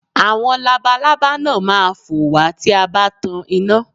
Àwọn labalábá náà má a fò wá tí a bá tan iná